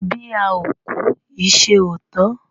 Bí a ò kú ìṣe ò tán.